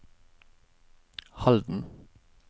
Halden